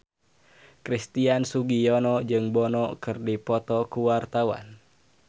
Christian Sugiono jeung Bono keur dipoto ku wartawan